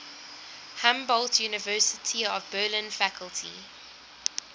humboldt university of berlin faculty